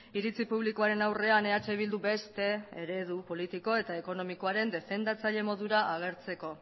iritzi publikoaren aurrean eh bildu beste eredu politiko eta ekonomikoaren defendatzaile modura agertzeko